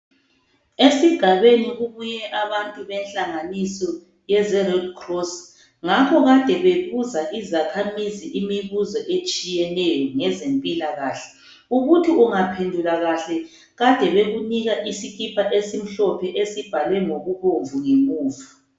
Esigabeni kubuye abantu behlanganiso ezered cross ngakho kade bebuza izakhamizi imibuzo etshiyeneyo ngempilakahle ubuthi ungaphendula kahle kade bekunika isikipa esimhlophe esibhalwe ngokubomvu ngemuva